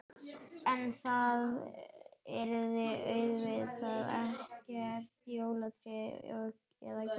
En það yrði auðvitað ekkert jólatré eða gjafir.